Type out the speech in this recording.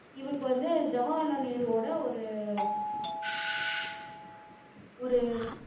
இவருக்கு வந்து ஜவஹர்லால் நேருவோட ஒரு ஒரு